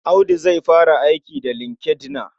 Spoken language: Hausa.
Audu zai fara aiki da LinkedIn.